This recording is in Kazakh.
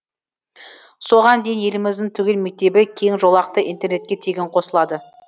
соған дейін еліміздің түгел мектебі кең жолақты интернетке тегін қосылады